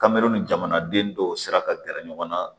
Kamero ni jamanaden dɔw sira ka gɛrɛ ɲɔgɔn na